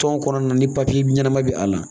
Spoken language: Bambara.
Tɔn kɔnɔna ni papiye ɲɛnama bɛ a la